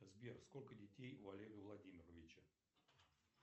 сбер сколько детей у олега владимировича